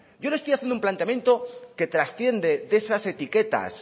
yo le estoy haciendo un planteamiento que trasciende de esas etiquetas